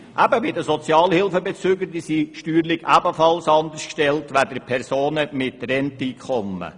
Zum Beispiel sind die Sozialhilfebezüger steuerlich ebenfalls anders gestellt als Personen mit Renteneinkommen.